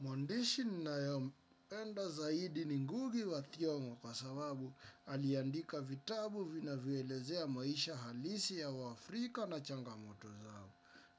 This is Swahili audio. Mwandishi ninayompenda zaidi ni ngugi wa thiongo kwa sababu aliandika vitabu vinavyoelezea maisha halisi ya wafrika na changamoto zao.